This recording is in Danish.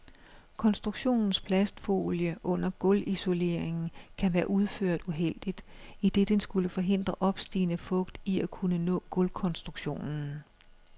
Konstruktionens plastfolie under gulvisoleringen kan være udført uheldigt, idet den skulle forhindre opstigende fugt i at kunne nå gulvkonstruktionen.